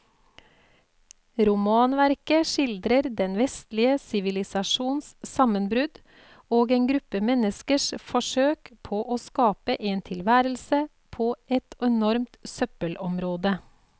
Romanverket skildrer den vestlige sivilisasjons sammenbrudd og en gruppe menneskers forsøk på å skape en tilværelse på et enormt søppelområde.